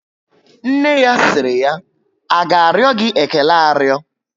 Nne ya siri ya, A ga ario gị ékélé ario?